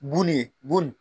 Bu ni ye bu n